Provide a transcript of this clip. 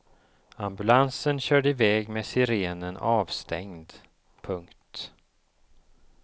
Ambulansen körde i väg med sirenen avstängd. punkt